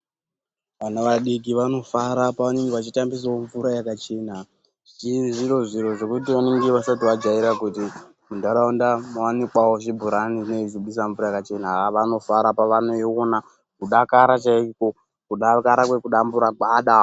Vana vadiki vanofara pevanenge vachitambisawo mvura yakachena, zviri zviro zvekuti zvevanenge vasati vajaira kuti muntaraunda mwawanikwawo zvibhorani zvinenge zveibudisa mvura yakachena, haa vanofara pevanoiona kudakara chaiko, kudakara kwekudambura gwada.